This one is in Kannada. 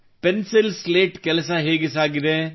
ಪೆನ್ಸಿಲ್ ಸ್ಲೇಟ್ ಕೆಲಸ ಹೇಗೆ ಸಾಗಿದೆ